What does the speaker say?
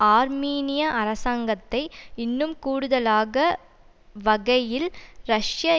ஆர்மீனிய அரசாங்கத்தை இன்னும் கூடுதலாக வகையில் ரஷ்ய